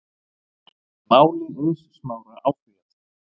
Máli Eiðs Smára áfrýjað